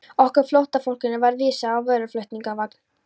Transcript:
Okkur flóttafólkinu var vísað á vöruflutningavagn.